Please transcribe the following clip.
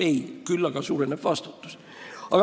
Ei, küll aga suureneks vastutus.